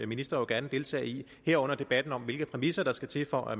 minister jo gerne deltage i herunder debatten om hvilke præmisser der skal til for at